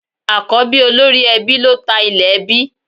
Àkọ́bí olórí ẹbí ló ta ilẹ̀ ẹbí